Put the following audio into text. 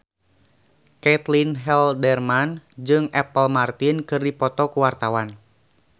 Caitlin Halderman jeung Apple Martin keur dipoto ku wartawan